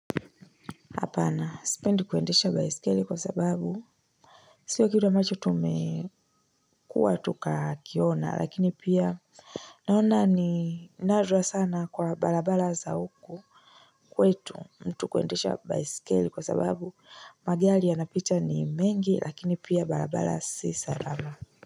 Hapana. Sipendi kuendesha baiskeli kwa sababu. Sio kitu ambacho tumekuwa tukakiona. Lakini pia naona ni nadra sana kwa barabara za huku. Kwetu mtu kuendesha baiskeli kwa sababu. Magari yanapita ni mengi. Lakini pia barabara si salama.